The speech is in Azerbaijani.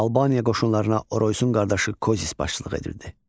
Albaniya qoşunlarına Oroysun qardaşı Kozis başçılıq edirdi.